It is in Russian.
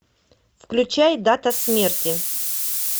включай дата смерти